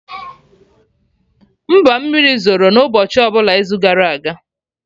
Mba, mmiri zoro na ụbọchị ọbụla izu gara aga